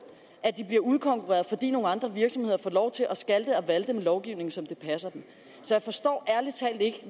at de bliver udkonkurreret fordi nogle andre virksomheder får lov til at skalte og valte med lovgivningen som det passer dem så jeg forstår ærlig talt ikke